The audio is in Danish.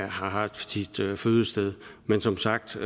har sit fødested men som sagt